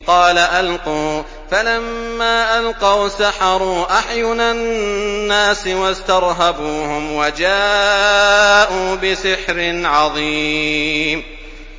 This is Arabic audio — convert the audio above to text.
قَالَ أَلْقُوا ۖ فَلَمَّا أَلْقَوْا سَحَرُوا أَعْيُنَ النَّاسِ وَاسْتَرْهَبُوهُمْ وَجَاءُوا بِسِحْرٍ عَظِيمٍ